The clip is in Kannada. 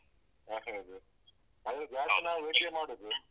ಹೌದು ಆದ್ರು ನಾವ್ ಜಾಸ್ತಿ veg ಮಾಡುದು.